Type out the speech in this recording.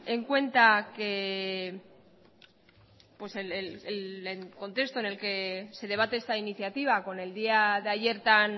en cuenta que pues el contexto en el que se debate esta iniciativa con el día de ayer tan